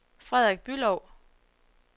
Frederik Bülow